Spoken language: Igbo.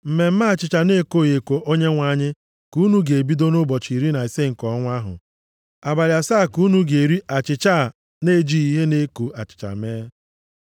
Mmemme achịcha na-ekoghị eko Onyenwe anyị ka unu ga-ebido nʼụbọchị iri na ise nke ọnwa ahụ. Abalị asaa ka unu ga-eri achịcha a na-ejighị ihe na-eko achịcha mee.